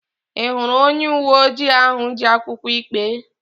Ị hụrụ onye uwe ojii ahụ ji akwụkwọ ikpe?